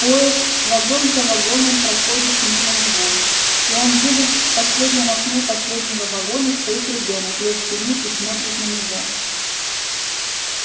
поезд вагон за вагоном проходит мимо него и он видит в последнем окне последнего вагона стоит ребёнок лет семи и смотрит на него